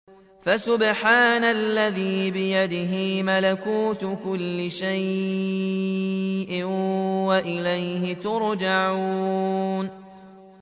فَسُبْحَانَ الَّذِي بِيَدِهِ مَلَكُوتُ كُلِّ شَيْءٍ وَإِلَيْهِ تُرْجَعُونَ